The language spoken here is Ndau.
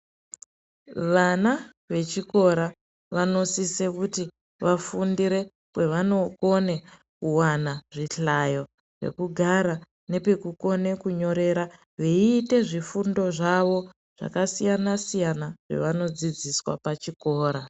Vana vechikora vanosise kuti vafundire kwavanokone kuwana zvihlayo, pekugara nepekukone kunyorera veiite zvifundi zvavo zvakasiyana -siyana zvavano dzidziswa pachikora.